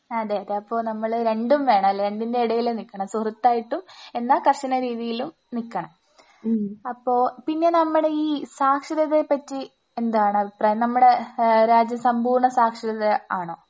അതെ അതെ അപ്പൊ നമ്മള് രണ്ടും വേണം അല്ലെ? രണ്ടിൻറെ ഇടയിലും നിൽക്കണം സുഹൃത്തായിട്ടും എന്നാ കർശന രീതിയിലും നിക്കണം. അപ്പോ പിന്നെ നമ്മുടെ ഈ സാക്ഷരതയെ പറ്റി എന്താണ് അഭിപ്രായം? നമ്മുടെ ഏഹ് രാജ്യം സമ്പൂർണ്ണ സാക്ഷരത ആണോ?